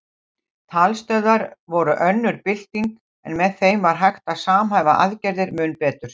Talstöðvar voru önnur bylting en með þeim var hægt að samhæfa aðgerðir mun betur.